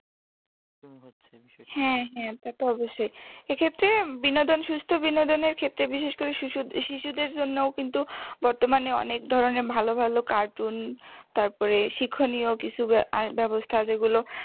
হ্যাঁ হ্যাঁ তা তো অবশ্যই এক্ষেত্রে বিনোদন সুষ্ঠ বিনোদনের ক্ষেত্রে বিশেষ করে শুশোদের শিশুদের জন্যও কিন্তু বর্তমানে অনেক ধরনের ভালো ভালো cartoon তারপরে শিক্ষণীয় কিছু আহ ব্যবস্থা যেগুলো